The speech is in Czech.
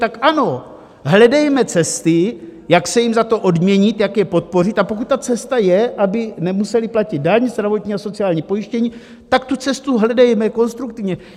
Tak ano, hledejme cesty, jak se jim za to odměnit, jak je podpořit, a pokud ta cesta je, aby nemuseli platit daň, zdravotní a sociální pojištění, tak tu cestu hledejme konstruktivně.